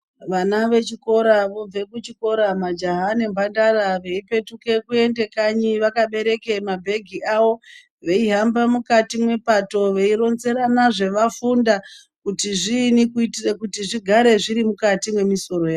Vana vechikora vobve kuchikora, majaha nembandara veipetuke kuende kanyi vakabereke mabhegi avo. Veihamba mukati mwepato veironzerana zvevafunda kuti zviinyi kuitire kuti zvigare zvirimukati memisoro yavo.